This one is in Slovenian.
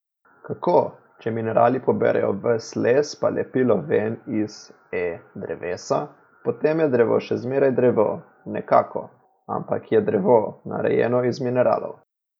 Kako, če minerali poberejo ves les pa lepilo ven iz, e, drevesa, potem je drevo še zmeraj drevo, nekako, ampak je drevo, narejeno iz mineralov.